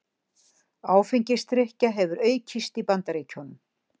Áfengisdrykkja hefur aukist í Bandaríkjunum